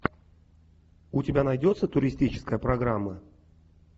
у тебя найдется туристическая программа